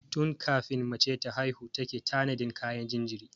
Tun kafin mace ta haihu take tanadin kayan jinjiri.